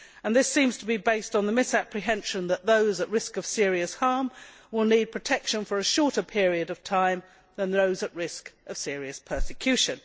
This seems to be based on the misapprehension that those at risk of serious harm will need protection for a shorter period of time than those at risk of serious persecution.